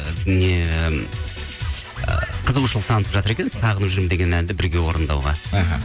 ы не қызығушылық танытып жатыр екен сағынып жүрмін деген әнді бірге орындауға іхі